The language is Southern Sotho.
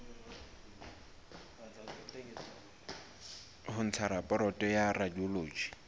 ho ntsha raporoto ya radiology